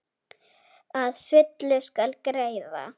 Að fullu skal greiða: